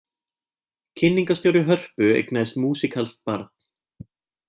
Kynningarstjóri Hörpu eignaðist músíkalskt barn